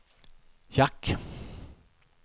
jack